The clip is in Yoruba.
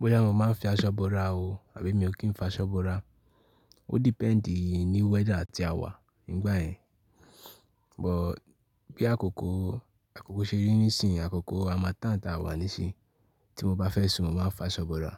Bọ́yá mo ma ń fi aṣọ búra o àbí mi ò kí ń fa aṣọ búra, ó dípendì ní weather tí a wà nígbà yẹn. But bí àkókò, àkókò ṣe rí nísìnyí, àkókò a harmattan tí a wà nísìnyí tí mo bá fẹ́ sùn mo ma fa aṣọ bora.